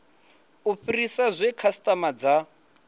u fhirisa zwe khasitama dza